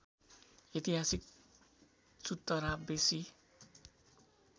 ऐतिहासिक चुतरा बेसी